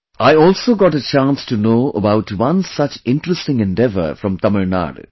I also got a chance to know about one such interesting endeavor from Tamil Nadu